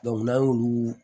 n'an y'olu